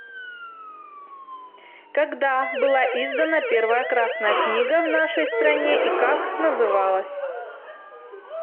когда была издана первая красная книга в нашей стране и как называлась